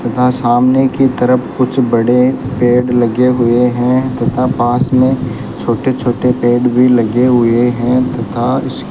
तथा सामने की तरफ कुछ बड़े पेड़ लगे हुए हैं तथा पास में छोटे छोटे पेड़ भी लगे हुए हैं तथा उस --